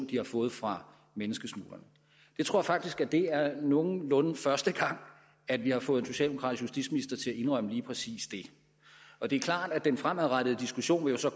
de har fået fra menneskesmuglerne jeg tror faktisk det er nogenlunde første gang at vi har fået en socialdemokratisk justitsminister til at indrømme lige præcis det og det er klart at den fremadrettede diskussion jo så